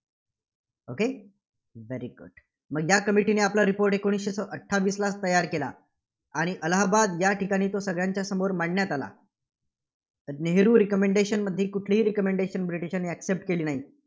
Okay very good मग या Committee ने आपला report एकोणीसशे अठ्ठावीसला तयार केला. आणि अलाहबाद या ठिकाणी तो सगळ्यांच्या समोर मांडण्यात आला नेहरू recommendation मध्ये कुठलीही recommendation ब्रिटिशांनी accept केली नाही.